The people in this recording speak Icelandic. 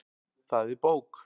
Það er bók.